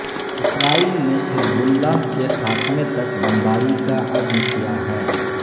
اسرائیل نے Hezbollah کے خاتمے تک بمباری کا عزم کیا ہے